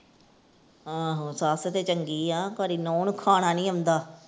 ਆਹੋ ਸੱਸ ਤੇ ਚੰਗੀ ਆ ਪਰ ਇਹ ਨੂੰਹ ਨੂੰ ਖਾਣਾ ਨੀ ਆਉਂਦਾ।